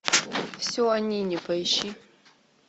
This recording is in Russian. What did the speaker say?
все о нине поищи